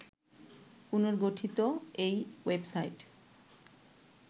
পুনর্গঠিত এই ওয়েবসাইট